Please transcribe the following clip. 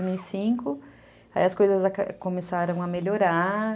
de dois mil e cinco. Aí as coisas começaram a melhorar.